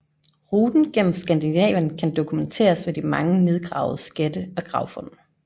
Ruten gennem Skandinavien kan dokumenteres ved de mange nedgravede skatte og gravfund